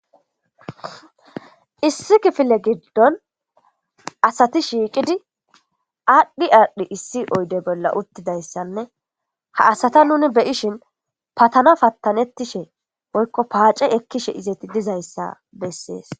issi kifile giddon asati shiiqidi aadhdhi aadhdhi issi oyde bolla uttidayssanne ha asata nuni beyishin patana pattanettishe woykko paace ekkishe izeti dizayssa bessees